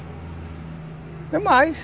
Não mais.